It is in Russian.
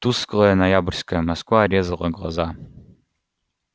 тусклая ноябрьская москва резала глаза